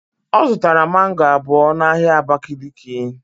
Ọ zụtara mango abụọ n'ahịa abakiliki